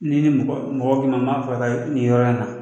N'i ni mɔgɔ bɛnna n'a bɛ fɛ ka taa nin yɔrɔ in na